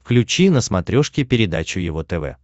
включи на смотрешке передачу его тв